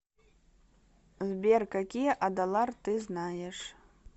сбер какие адалар ты знаешь